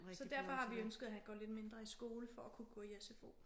Så derfor har vi ønsket at han går lidt mindre i skole for at kunne gå i sfo